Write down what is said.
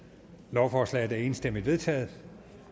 lovforslaget er enstemmigt vedtaget